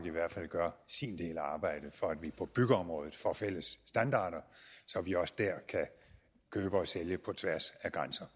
i hvert fald gør sin del af arbejdet for at vi på byggeområdet får fælles standarder så vi også der kan købe og sælge på tværs af grænser